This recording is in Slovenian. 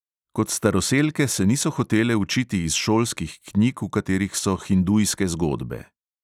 Kot staroselke se niso hotele učiti iz šolskih knjig, v katerih so hindujske zgodbe.